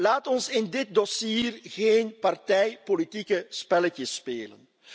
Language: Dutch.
Laten we in dit dossier geen partijpolitieke spelletjes spelen.